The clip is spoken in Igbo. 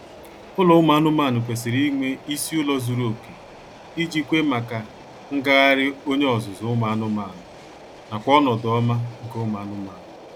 Ụlọ ụmụ anụmaanụ kwesịrị inwe isi ụlọ zuru oke iji kwe maka ngagharị onye ọzụzụ ụmụ anụmaanụ nakw ọnọdụ ọma nke ụmụ anụmanụ